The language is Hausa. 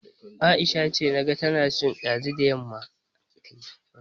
Aisha ce, naga tana ci ɗazu da yamma